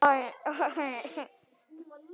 Í Holti kappinn Þorgeir bjó.